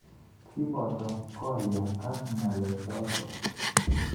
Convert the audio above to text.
kiboto kolia ak ng'alechoto.